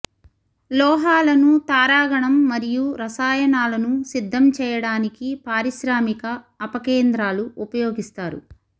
లోహాలను తారాగణం మరియు రసాయనాలను సిద్ధం చేయడానికి పారిశ్రామిక అపకేంద్రాలు ఉపయోగిస్తారు